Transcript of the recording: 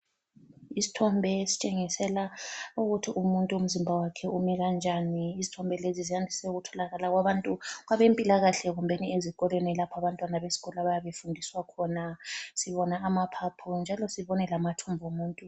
Isithombe esitshengisela ukuthi umuntu umzimba wakhe ume kanjani. Izithombe lezi ziyandise ukutholakala kwabantu kwabempilakahle kumbeni ezikolweni lapha abantwana besikolo abayabe befundiswa khona, sibona amaphaphu njalo sibone lamathumbu omuntu.